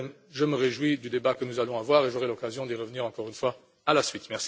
Je me réjouis du débat que nous allons avoir et j'aurai l'occasion d'y revenir encore une fois par la suite.